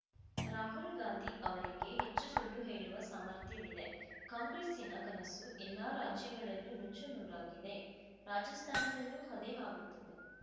ರಾಹುಲ್‌ ಗಾಂಧಿ ಅವರಿಗೆ ಹೆಚ್ಚು ಸುಳ್ಳು ಹೇಳುವ ಸಾಮರ್ಥ್ಯವಿದೆ ಕಾಂಗ್ರೆಸ್ಸಿನ ಕನಸು ಎಲ್ಲ ರಾಜ್ಯಗಳಲ್ಲೂ ನುಚ್ಚು ನೂರಾಗಿದೆ ರಾಜಸ್ಥಾನದಲ್ಲೂ ಅದೇ ಆಗುತ್ತದೆ